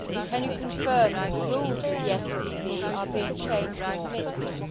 Can you confirm that the rules of the SPV are being changed to permit this?